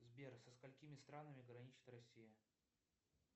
сбер со сколькими странами граничит россия